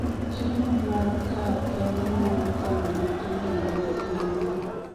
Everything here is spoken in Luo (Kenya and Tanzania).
chiemo ma kar kende nyalo konyo nyithindo ma nigi ndulme